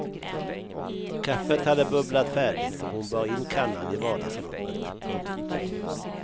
Kaffet hade bubblat färdigt och hon bar in kannan i vardagsrummet. punkt